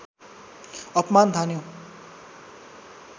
अपमान ठान्यो